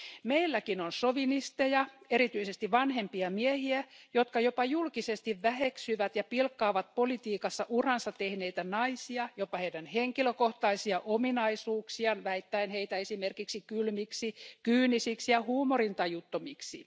Meilläkin on sovinisteja, erityisesti vanhempia miehiä, jotka jopa julkisesti väheksyvät ja pilkkaavat politiikassa uransa tehneitä naisia, jopa heidän henkilökohtaisia ominaisuuksiaan, väittäen heitä esimerkiksi kylmiksi, kyynisiksi ja huumorintajuttomiksi.